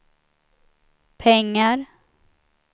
pengar